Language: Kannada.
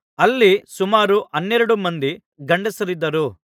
ಅಲ್ಲಿ ಸುಮಾರು ಹನ್ನೆರಡು ಮಂದಿ ಗಂಡಸರಿದ್ದರು